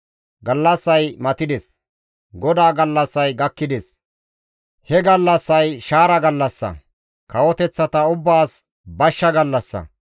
Gallassay matides! GODAA gallassay gakkides! He gallassay shaara gallassa; kawoteththata ubbaas bashsha gallassa.